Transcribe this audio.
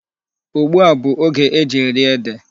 Ugbu a bụ oge e ji eri ede.